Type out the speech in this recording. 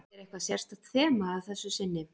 Er eitthvað sérstakt þema að þessu sinni?